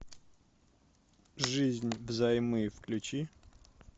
жизнь взаймы включи